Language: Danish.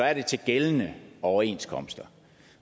er det til gældende overenskomst